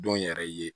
Don yɛrɛ ye